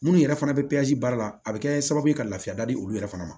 Minnu yɛrɛ fana bɛ baara la a bɛ kɛ sababu ye ka lafiya da di olu yɛrɛ fana ma